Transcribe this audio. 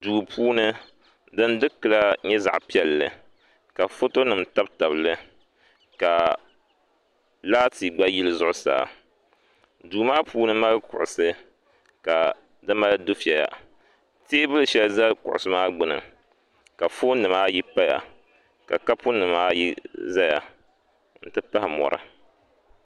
duu puuni din dikila nyɛla zaɣ piɛlli ka foto nim tabi tabili ka laati gba yili zuɣusaa duu maa puuni mali kuɣusi ka di mali dufɛya teebuli shɛli ʒɛ kuɣusi maa gbuni ka foon nim ayi paya ka kapu nim ayi ʒɛya n ti pahi mɔri